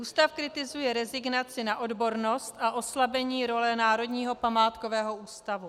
Ústav kritizuje rezignaci na odbornost a oslabení role Národního památkového ústavu.